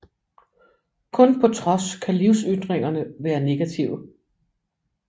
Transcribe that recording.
Kun på trods kan livsytringerne være negative